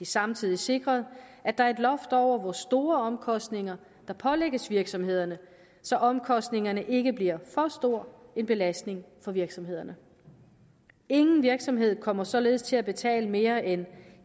samtidig sikret at der er loft over hvor store omkostninger der pålægges virksomhederne så omkostningerne ikke bliver for stor en belastning for virksomhederne ingen virksomhed kommer således til at betale mere end